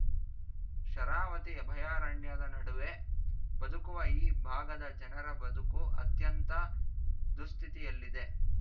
ಶರಾವತಿ ಅಭಯಾರಣ್ಯದ ನಡುವೆ ಬದುಕುವ ಈ ಭಾಗದ ಜನರ ಬದುಕು ಅತ್ಯಂತ ದುಸ್ಥಿತಿಯಲ್ಲಿದೆ